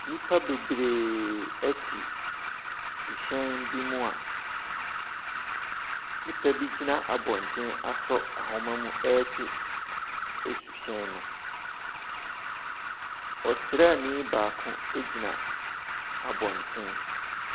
Nnipa bebree ɛte suhyɛn bi mu a nnpa bi gyina abɔnten asɔ nwoma mu retwe suhyɛn no. Ɔsrani baako gyina Abonten.